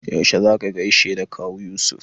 Yaushe za ka gaishe da Kawu Yusuf?